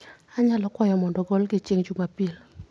Anyalo kwayo mondo ogolgi chieng' Jumapil